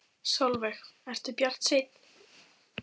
Sólveig: Ertu bjartsýnn?